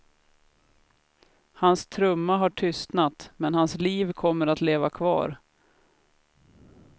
Hans trumma har tystnat, men hans liv kommer att leva kvar.